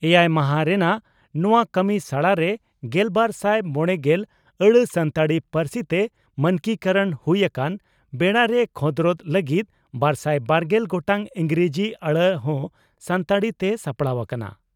ᱮᱭᱟᱭ ᱢᱟᱦᱟ ᱨᱮᱱᱟᱜ ᱱᱚᱣᱟ ᱠᱟᱹᱢᱤᱥᱟᱲᱟ ᱨᱮ ᱜᱮᱞᱵᱟᱨᱥᱟᱭ ᱢᱚᱲᱮᱜᱮᱞ ᱟᱹᱲᱟᱹ ᱥᱟᱱᱛᱟᱲᱤ ᱯᱟᱹᱨᱥᱤ ᱛᱮ ᱢᱟᱱᱠᱤᱠᱚᱨᱚᱬ ᱦᱩᱭ ᱟᱠᱟᱱ ᱵᱮᱲᱟᱨᱮ ᱠᱷᱚᱸᱫᱽᱨᱚᱫᱽ ᱞᱟᱹᱜᱤᱫ ᱵᱟᱨᱥᱟᱭ ᱵᱟᱨᱜᱮᱞ ᱜᱚᱴᱟᱝ ᱤᱸᱜᱽᱨᱟᱡᱤ ᱟᱹᱲᱟᱹ ᱦᱚᱸ ᱥᱟᱱᱛᱟᱲᱤ ᱛᱮ ᱥᱟᱯᱲᱟᱣ ᱟᱠᱟᱱᱟ ᱾